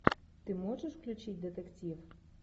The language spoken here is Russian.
ты можешь включить детектив